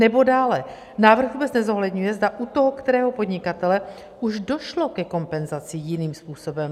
Nebo dále: Návrh vůbec nezohledňuje, zda u toho kterého podnikatele už došlo ke kompenzaci jiným způsobem.